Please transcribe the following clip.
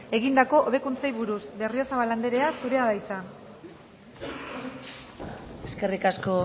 egindako hobekuntzei buruz berriozabal andrea zurea da hitza eskerrik asko